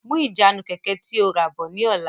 Mú ìjánu Kẹ̀kẹ́ tí ó ràbọ̀ ni ọ̀la!